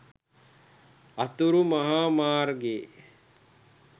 අතුරු මහා මාර්ගයේ